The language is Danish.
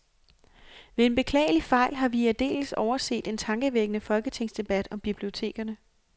Ved en beklagelig fejl har vi aldeles overset en tankevækkende folketingsdebat om bibliotekerne.